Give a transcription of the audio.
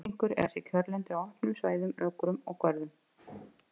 Bókfinkur eiga sér kjörlendi á opnum svæðum, ökrum og görðum.